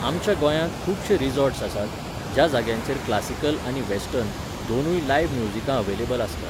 आमच्या गोंयांत खुबशे रिजॉर्ट्स आसात, ज्या जाग्यांचेर क्लासिकल आनी वॅस्टर्न, दोनूय लायव्ह म्युजिकां अव्हेलेबल आसतात.